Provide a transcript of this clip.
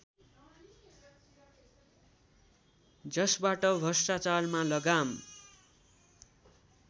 जसबाट भ्रष्टाचारमा लगाम